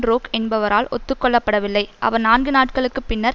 றோக் என்பவரால் ஒத்து கொள்ளப்படவில்லை அவர் நான்கு நாட்களுக்கு பின்னர்